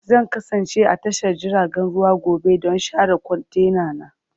Zan kasance a tashar jiragen ruwa gobe don share kwantenana.